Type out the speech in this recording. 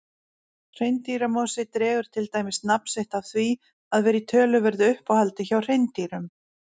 Hreindýramosi dregur til dæmis nafn sitt af því að vera í töluverðu uppáhaldi hjá hreindýrum.